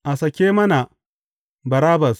A sake mana Barabbas!